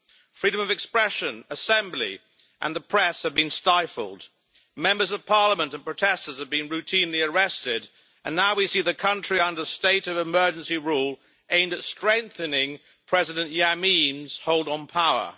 Freedom of expression, assembly and the press have been stifled, Members of Parliament and protesters have been routinely arrested, and now we see the country under state of emergency rule aimed at strengthening President Yameen's hold on power.